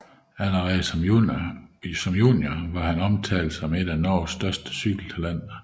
Allerede som junior var han omtalt som et af Norges største cykeltalenter